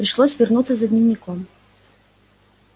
пришлось вернуться за дневником